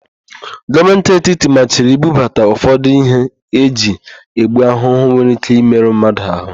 Gọọmenti etiti machiri ibubata ụfọdụ íhé eji egbu ahụhụ nwere íké ịmerụ mmadụ ahụ.